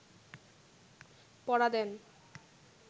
পড়া দেন